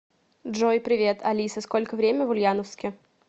джой привет алиса сколько время в ульяновске